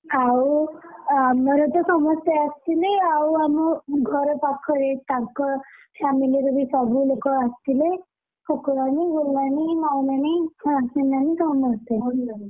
ଆଉ ଆମରତ ସମସ୍ତେ ଆସିଥିଲେ ଆଉ ଆମ ଘର ପାଖରେ ତାଙ୍କ family ରେବି ସବୁ ଲୋକ ଆସିଥିଲେ ଫୁକୁନାନୀ, ବୁଲୁନାନୀ, ମାଉଁନାନୀ, ଶୀନ ନାନୀ ସମସ୍ତେ,